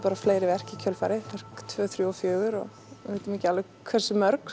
fleiri verk í kjölfarið tveggja þriggja og fjögurra við vitum ekki alveg hversu mörg